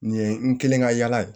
Nin ye n kelen ka yala ye